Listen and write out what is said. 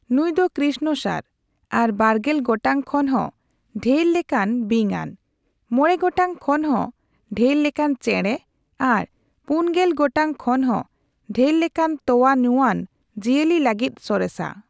ᱱᱩᱭ ᱫᱚ ᱠᱨᱤᱥᱱᱚᱥᱟᱨ ᱟᱨ ᱵᱟᱨᱜᱮᱞ ᱜᱚᱴᱟᱝ ᱠᱷᱚᱱ ᱦᱚᱸ ᱰᱷᱮᱨ ᱞᱮᱠᱟᱱ ᱵᱤᱧᱟᱱ, ᱢᱚᱲᱮ ᱜᱚᱴᱟᱝ ᱠᱷᱚᱱ ᱦᱚᱸ ᱰᱷᱮᱨ ᱞᱮᱠᱟᱱ ᱪᱮᱬᱮ ᱟᱨ ᱯᱩᱱ ᱜᱮᱞ ᱜᱚᱴᱟᱝ ᱠᱷᱚᱱ ᱦᱚᱸ ᱰᱷᱮᱨ ᱞᱮᱠᱟᱱ ᱛᱚᱣᱟ ᱧᱩᱣᱟᱱ ᱡᱤᱭᱟᱹᱞᱤ ᱞᱟᱹᱜᱤᱫ ᱥᱚᱨᱮᱥᱼᱟ ᱾